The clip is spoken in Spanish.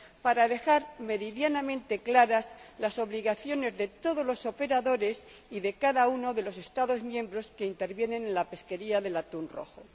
para dejar meridianamente claras las obligaciones de todos los operadores y de cada uno de los Estados miembros que intervienen en la pesquería del atún rojo.